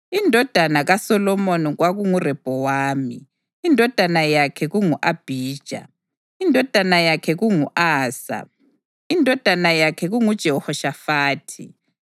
Indodana kaSolomoni kwakunguRehobhowami, indodana yakhe kungu-Abhija, indodana yakhe kungu-Asa, indodana yakhe kunguJehoshafathi,